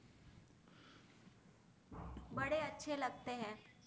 બદ્એ અછે લગતે હૈ